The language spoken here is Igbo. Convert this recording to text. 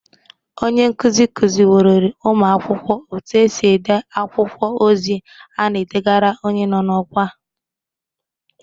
Onye nkuzi kụzịworori ụmụakwọkwo etu esi ede akwụkwọ ozi a na edegara onye nọ n'ọkwa